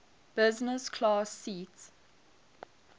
business class seat